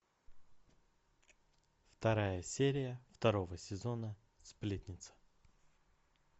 вторая серия второго сезона сплетница